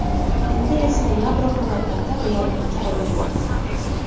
Endi esa yadro halokati reallikka aylanmoqda.